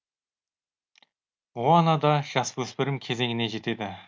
моана да жасөспірім кезеңіне жетеді